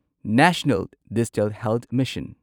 national digital health mission